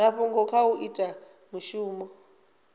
mafhungo kha u ita mishumo